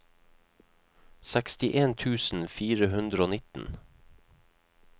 sekstien tusen fire hundre og nitten